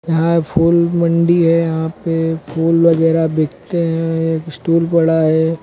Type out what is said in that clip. यहां फूल मंडी है यहां पे फूल वगैरा बिकते हैं एक स्टूल पड़ा है।